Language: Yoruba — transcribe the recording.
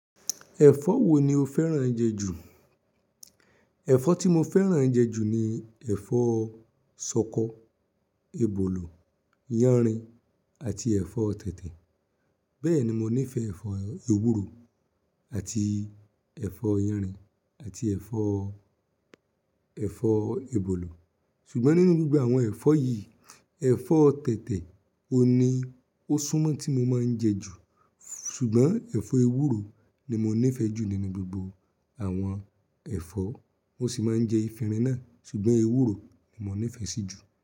Ẹ̀fọ́ wo ni o fẹ́ràn jẹ ju? Ẹ̀fọ́ tí mo fẹ́ràn jẹ ju ni ẹ̀fọ́ ṣọkọ, ebólò, yánrin àti ẹ̀fọ́ tètè. Bẹ́ẹ̀ ni mo nífẹ̀ẹ́ ẹ̀fọ́ ewúro àti ẹ̀fọ́ yánrin àti ẹ̀fọ́, ẹ̀fọ́ ebólò. Ṣùgbọ́n nínú gbogbo àwọn ẹ̀fọ́ yìí, ẹ̀fọ́ tẹtẹ ohun ni ó súnmọ́ tí mo máa ń jẹ jù. Ṣùgbọ́n ẹ̀fọ́ ewúro ni mo nífẹ̀ẹ́ jù nínú gbogbo àwọn ẹ̀fọ́. Mo sì máa ń jẹ efinrin náà, ṣùgbọ́n ewúro ni mo nífẹ̀ẹ́ sí jù.